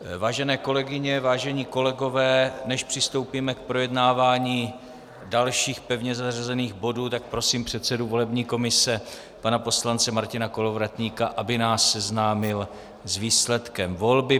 Vážené kolegyně, vážení kolegové, než přistoupíme k projednávání dalších pevně zařazených bodů, tak prosím předsedu volební komise pana poslance Martina Kolovratníka, aby nás seznámil s výsledkem volby.